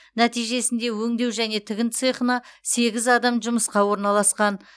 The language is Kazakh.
нәтижесінде өңдеу және тігін цехына сегіз адам жұмысқа орналасқан